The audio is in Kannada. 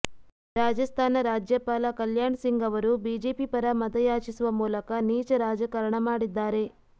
ರಾಜಸ್ಥಾನ ರಾಜ್ಯಪಾಲ ಕಲ್ಯಾಣಸಿಂಗ್ ಅವರು ಬಿಜೆಪಿ ಪರ ಮತಯಾಚಿಸುವ ಮೂಲಕ ನೀಚ ರಾಜಕಾರಣ ಮಾಡಿದ್ದಾರೆ